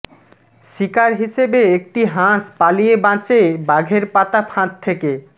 শিকার হিসেবে একটি হাঁস পালিয়ে বাঁচে বাঘের পাতা ফাঁদ থেকে